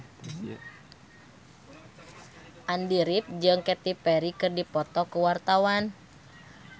Andy rif jeung Katy Perry keur dipoto ku wartawan